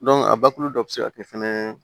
a bakuru dɔ bɛ se ka kɛ fɛnɛ